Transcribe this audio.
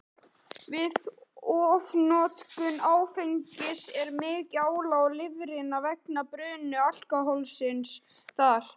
Við ofnotkun áfengis er mikið álag á lifrina vegna bruna alkóhólsins þar.